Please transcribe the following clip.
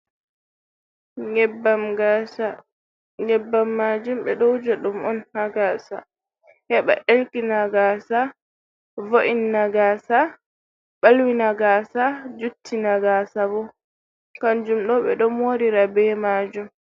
Nyebbam gaasa, nyebbam maajum ɓe ɗo wuja ɗum on ha gaasa heɓa ɗelkina gaasa, vo’inna gaasa, ɓalwina gaasa, juttina gaasa bo. Kanjum ɗo ɓe ɗo moorira be maajum.